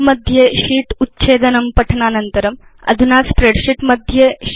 काल्क मध्ये शीट्स् कथम् उच्छेत्तव्यानि इति पठनानन्तरं वयमधुना स्प्रेडशीट्